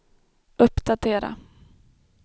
uppdatera